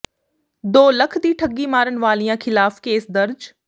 ਦੋ ਲੱਖ ਦੀ ਠੱਗੀ ਮਾਰਨ ਵਾਲਿਆਂ ਖਿਲਾਫ ਕੇਸ ਦਰਜ